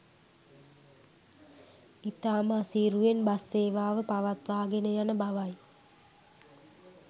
ඉතාම අසීරුවෙන් බස් සේවාව පවත්වාගෙන යන බවයි